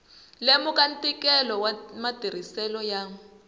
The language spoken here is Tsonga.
lemuka ntikelo wa matirhiselo ya